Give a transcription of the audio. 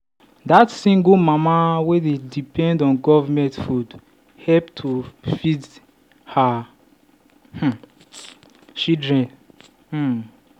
that single mama dey depend on government food help to feed her um children. um